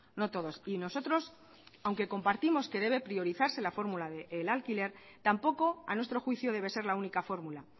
no todos y nosotros aunque compartimos que debe priorizarse la fórmula del alquiler tampoco a nuestro juicio debe ser la única fórmula